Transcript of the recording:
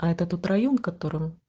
а это тот район в котором